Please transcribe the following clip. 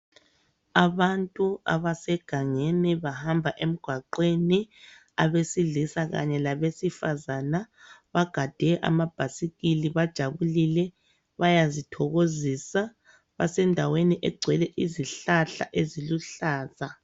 Abantu abasegangeni bahamba emgwaqweni abesilisa kanye labesifazana bagade amabhasikili bajabulile bayazithokozisa. Basendaweni egcwele izihlahla eziluhlaza.